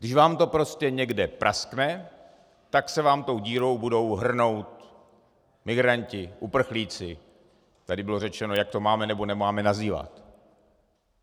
Když vám to prostě někde praskne, tak se vám tou dírou budou hrnout migranti, uprchlíci - tady bylo řečeno, jak to máme, nebo nemáme nazývat.